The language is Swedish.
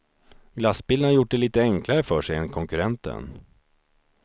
Glassbilen har gjort det lite enklare för sig än konkurrenten.